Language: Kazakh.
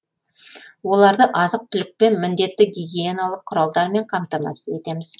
оларды азық түлікпен міндетті гигиеналық құралдармен қамтамасыз етеміз